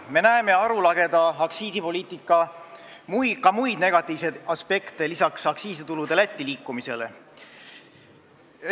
Me näeme ka muid arulageda aktsiisipoliitika negatiivseid aspekte lisaks aktsiisitulude Lätti liikumisele.